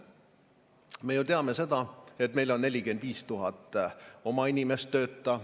Me ju teame seda, et meil on 45 000 oma inimest tööta.